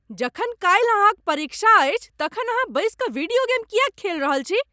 जखन काल्हि अहाँ क परीक्षा अछि तखन अहाँ बसि कऽ वीडियो गेम किएक खेल रहल छी?